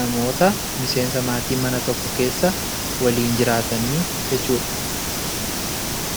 namoota miseensa maatii mana tokko keessa waliin jiraatanii jechuu dha.